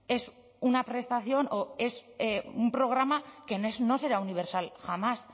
es una prestación o es un programa que no será universal jamás